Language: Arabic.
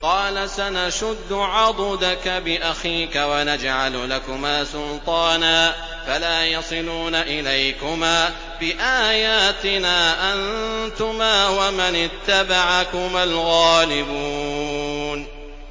قَالَ سَنَشُدُّ عَضُدَكَ بِأَخِيكَ وَنَجْعَلُ لَكُمَا سُلْطَانًا فَلَا يَصِلُونَ إِلَيْكُمَا ۚ بِآيَاتِنَا أَنتُمَا وَمَنِ اتَّبَعَكُمَا الْغَالِبُونَ